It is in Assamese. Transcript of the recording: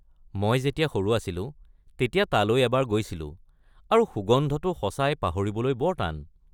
মই যেতিয়া সৰু আছিলো তেতিয়া তালৈ এবাৰ গৈছিলোঁ আৰু সুগন্ধটো সঁচাই পাহিৰবলৈ বৰ টান।